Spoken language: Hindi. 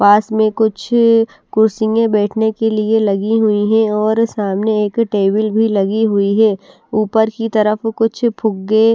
पास में कुछ अ कुर्सियाँ बैठने के लिए लगी हुई हैं और सामने एक टेबल भी लगी हुई है ऊपर की तरफ कुछ फुग्गे--